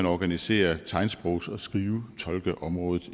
organiserer tegnsprogs og skrivetolkeområdet